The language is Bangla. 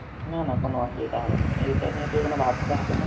না না কোনো অসুবিধা হবে না, এইটা নিয়ে তোকে কোনো ভাবতে হবে না।